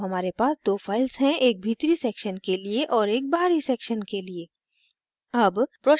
अतः अब हमारे पास 2 files हैं एक भीतरी section के लिए और एक बाहरी section के लिए